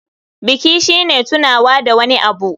Biki shine tunawa da wani abu.